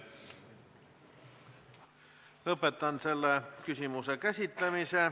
Lõpetan selle küsimuse käsitlemise.